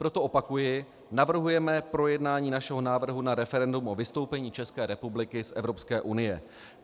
Proto opakuji, navrhujeme projednání našeho návrhu na referendum o vystoupení České republiky z Evropské unie.